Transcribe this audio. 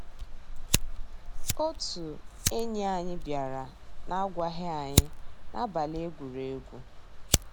Ótú ényí ànyị́ biàrà n'àgwàghị́ ànyị́ n'àbàlí égwùrégwù.